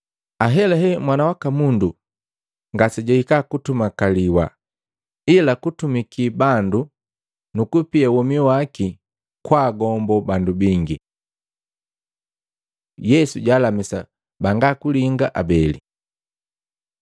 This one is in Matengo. Ahelahela, Mwana waka Mundu ngasejwahika kutumakaliwa, ila kutumiki bandu nukupia womi waki kwa gombo bandu bingi.” Yesu jwaalamisa banga linga abeli Maluko 10:46-52; Luka 18:35-43